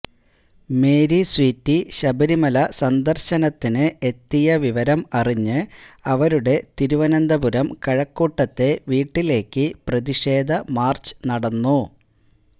Mary Sweety Sabarimala സന്ദർശനത്തിന് എത്തിയ വിവരം അറിഞ്ഞ് അവരുടെ തിരുവനന്തപുരം കഴക്കൂട്ടത്തെ വീട്ടിലേക്ക് പ്രതിഷേധ മാർച്ച് നടന്നു